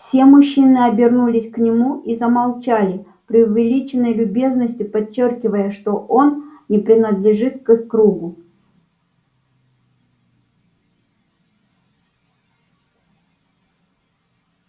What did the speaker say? все мужчины обернулись к нему и замолчали преувеличенной любезностью подчёркивая что он не принадлежит к их кругу